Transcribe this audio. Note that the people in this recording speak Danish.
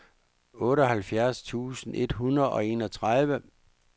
otteoghalvfjerds tusind et hundrede og enogtredive